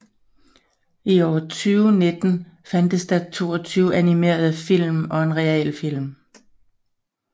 I år 2019 fandtes der 22 animerede film og en realfilm